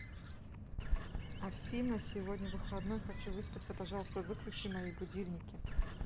афина сегодня выходной хочу выспаться пожалуйста выключи мои будильники